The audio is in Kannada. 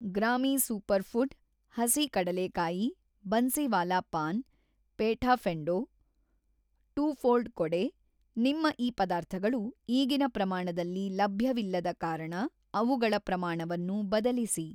ಗ್ರಾಮೀ ಸೂಪರ್‌ಫ಼ುಡ್, ಹಸಿ ಕಡಲೇಕಾಯಿ, ಬನ್ಸಿವಾಲಾ ಪಾನ್‌, ಪೇಠಾ ಫೆ಼ಂಡೊ ಟೂ ಫ಼ೋಲ್ಡ್‌ ಕೊಡೆ ನಿಮ್ಮ ಈ ಪದಾರ್ಥಗಳು ಈಗಿನ ಪ್ರಮಾಣದಲ್ಲಿ ಲಭ್ಯವಿಲ್ಲದ ಕಾರಣ ಅವುಗಳ ಪ್ರಮಾಣವನ್ನು ಬದಲಿಸಿ.